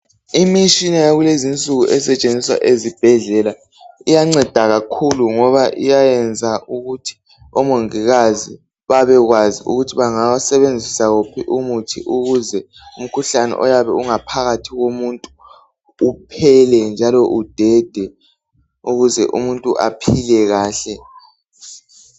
Imitshina yakulezi insuku esetshenziswa ezibhedlela iyangceda kakhulu ngoba iyayenza ukuthi omongikazi bebekwazi ukuthi bengasebenza umuthi onjani ukuze umkhuhlane oyabe uphakathi komuntu uphele njalo udede ukuze umuntu aphile kahle